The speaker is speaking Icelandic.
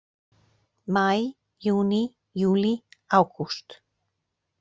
Maí Júní Júlí Ágúst